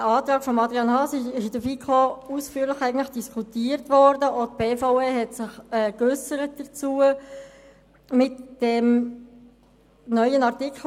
Der Antrag von Adrian Haas wurde in der FiKo ausführlich diskutiert, und auch die BVE hat sich dazu geäussert.